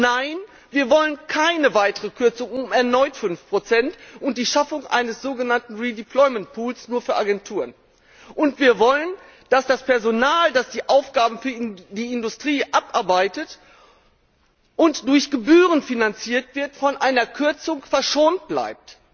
Nein, wir wollen keine weitere Kürzung um erneut 5 und die Schaffung eines sogenannten Redeployment Pool nur für Agenturen. Und wir wollen, dass das Personal, das die Aufgaben für die Industrie abarbeitet und durch Gebühren finanziert wird, von einer Kürzung verschont bleibt.